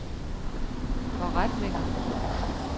forretninger